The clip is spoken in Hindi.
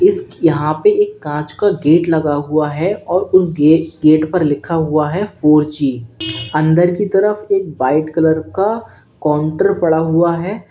इस यहाँ पे एक कांच का गेट लगा हुआ है और उस गे गेट पर लिखा हुआ है फोर जी अंदर की तरफ एक व्हाइट कलर का काउंटर पड़ा हुआ है।